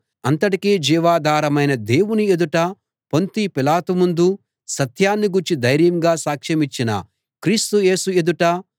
అంతటికీ జీవాధారమైన దేవుని ఎదుటా పొంతి పిలాతు ముందు సత్యాన్ని గూర్చి ధైర్యంగా సాక్షమిచ్చిన క్రీస్తు యేసు ఎదుటా